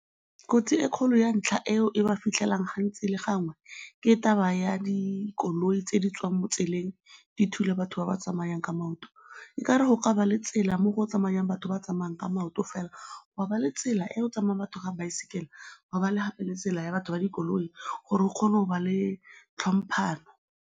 Kotsi e kgolo ya ntlha eo e ba fitlhelang gantsi le gangwe ke taba ya dikoloi tse di tswang mo tseleng, di thula batho ba ba tsamayang ka maoto. Ekare go ka ba le tsela mo go tsamayang batho ba tsamayang ka maoto fela, ga ba le tsela e go tsamayang batho ba baesekele, ga ba le gape le tsela ya batho ba dikoloi gore go kgone go ba le tlhomphano.